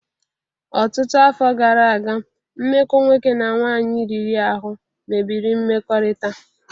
Ọtụtụ afọ gara aga, mmekọ nwoke na nwaanyị riri ahụ mebiri mmekọrịta.